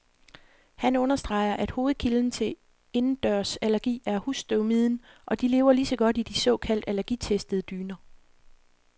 Han understreger, at hovedkilden til indendørsallergi er husstøvmiden, og de lever lige så godt i de såkaldt allergitestede dyner.